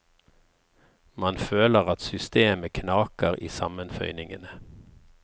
Man føler at systemet knaker i sammenføyningene.